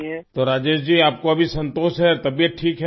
تو راجیش جی، آپ کو اب سکون ہے، طبیعت ٹھیک ہے